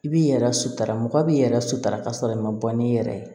I b'i yɛrɛ sutura mɔgɔ b'i yɛrɛ sutura ka sɔrɔ i ma bɔ n'i yɛrɛ ye